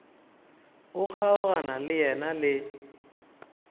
o kgaogana le yena le